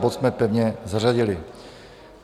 Bod jsme pevně zařadili.